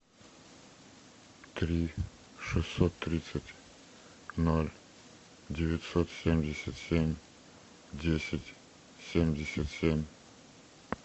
три шестьсот тридцать ноль девятьсот семьдесят семь десять семьдесят семь